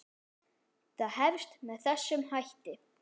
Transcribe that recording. Það hefst með þessum hætti